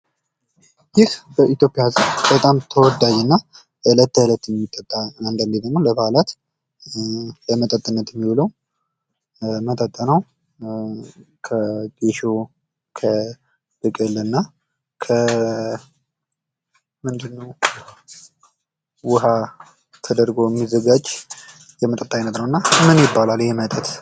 ይህ በኢትዮጵያ ህዝብ በጣም ተወዳጅ እና እለት ከእለት የሚጠጣ አንዳንድ ጊዜ ደግሞ ለበዓላት ለመጠጥነት የሚውል መጠጥ ነው። ከጌሾ፣ ከብቅል እና ውሃ ተደርጎ የሚዘጋጅ መጠጥ ነው። እና ይህ መጠጥ ምን ይባላል?